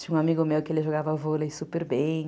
Tinha um amigo meu que ele jogava vôlei super bem.